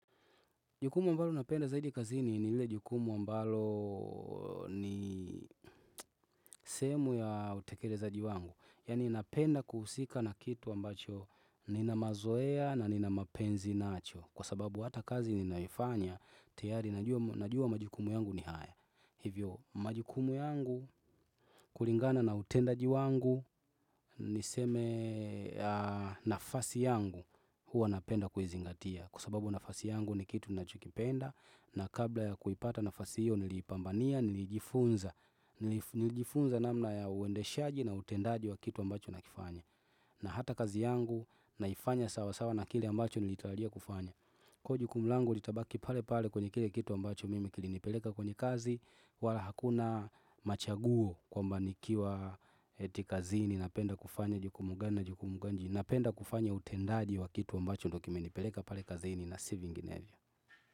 Jukumu ambalo napenda zaidi kazini ni lile jukumu ambalo ni sehemu ya utekerezaji wangu. Yani napenda kuhusika na kitu ambacho ninamazoea na ninamapenzi nacho. Kwa sababu hata kazi ninayoifanya, teyari najua najua majukumu yangu ni haya. Hivyo, majukumu yangu kulingana na utendaji wangu, niseme nafasi yangu huwa napenda kuizingatia. Kwa sababu nafasi yangu ni kitu ninachokipenda na kabla ya kuipata nafasi hiyo niliipambania nilijifunza Nilijifunza namna ya uendeshaji na utendaji wa kitu ambacho nakifanya na hata kazi yangu naifanya sawa sawa na kile ambacho nilitaalia kufanya kuwa jukumu langu litabaki pale pale kwenye kile kitu ambacho mimi kilinipeleka kwenye kazi wala hakuna machaguo kwamba nikiwa eti kazini napenda kufanya jukumu gani na jukumu gani napenda kufanya utendaji wa kitu ambacho ndo kimenipeleka pale kazini na si vingenevyo.